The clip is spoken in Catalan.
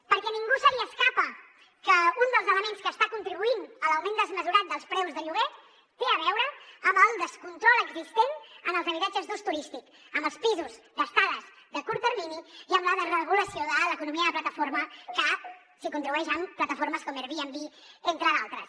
perquè a ningú se li escapa que un dels elements que està contribuint a l’augment desmesurat dels preus del lloguer té a veure amb el descontrol existent en els habitatges d’ús turístic amb els pisos d’estades de curt termini i amb la desregulació de l’economia de plataforma que s’hi contribueix amb plataformes com airbnb entre d’altres